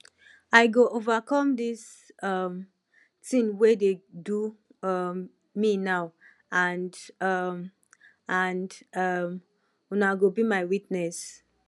i go overcome dis um thing wey dey do um me now and um and um una go be my witness